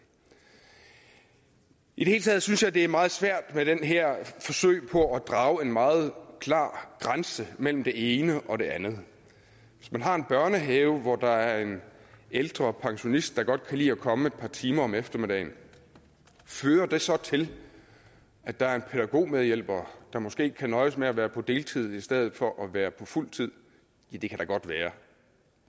i det hele taget synes jeg det er meget svært med det her forsøg på at drage en meget klar grænse mellem det ene og det andet hvis man har en børnehave hvor der er en ældre pensionist der godt kan lide at komme et par timer om eftermiddagen fører det så til at der er en pædagogmedhjælper der måske kan nøjes med at være på deltid i stedet for at være på fuld tid det kan da godt være